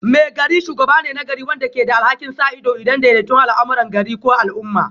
Maigari shugaba ne na gari wanda ke da alhakin sa ido da daidaita al'amuran gari ko al'umma